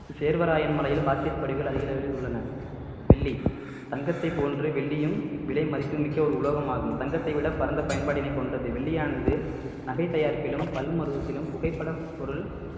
சேர்வராயன் மலையில் பாக்ஸைட் படிவுகள் அதிக அளவில் உள்ளன வெள்ளி தங்கத்தை போன்று வெள்ளியும் விலை மதிப்புமிக்க ஒரு உலோகமாகும் தங்கத்தை விட பரந்த பயன்பாட்டினை கொண்டது வெள்ளியானது நகை தயாரிப்பிலும் பல்மருவத்திலும் புகைப்பட பொருள்